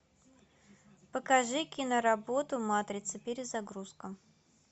покажи киноработу матрица перезагрузка